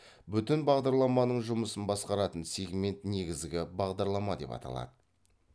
бүтін бағдарламаның жұмысын басқаратын сегмент негізгі бағдарлама деп аталады